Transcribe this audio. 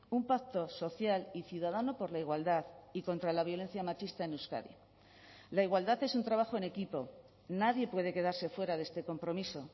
un pacto social y ciudadano por la igualdad y contra la violencia machista en euskadi la igualdad es un trabajo en equipo nadie puede quedarse fuera de este compromiso